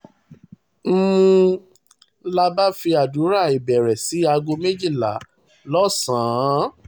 um n la bá fi àdúrà ìbẹ̀rẹ̀ sí aago méjìlá lọ́sàn-án